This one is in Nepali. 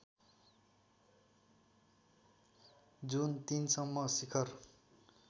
जुन ३ सम्म शिखर